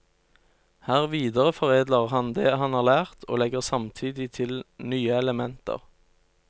Her videreforedler han det han har lært, og legger samtidig til nye elementer.